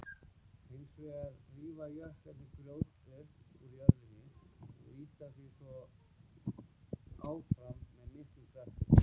Hins vegar rífa jöklarnir grjót upp úr jörðinni og ýta því áfram með miklum krafti.